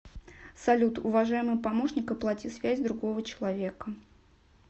салют уважаемый помощник оплати связь другого человека